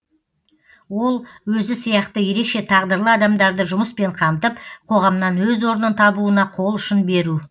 ол өзі сияқты ерекше тағдырлы адамдарды жұмыспен қамтып қоғамнан өз орнын табуына қол ұшын беру